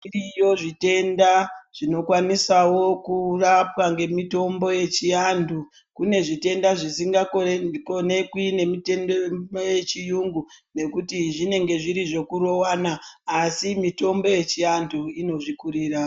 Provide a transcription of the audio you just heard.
Zviriyo zvithenda zvinokwanisawo kurapwa ngemithombo yechianthu. Kune zvithenda zviingakonekwi nemitendo yechiyungu nekuti zvinonga zviri zvekurowana asi mithombo yechianthu inozvikurira.